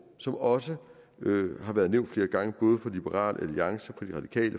som også har været nævnt flere gange både fra liberal alliance